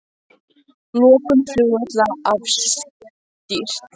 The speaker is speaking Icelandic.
Lokun flugvalla afstýrt